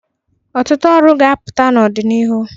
Ọtụtụ ọrụ ga-apụta n'ọdịnihu.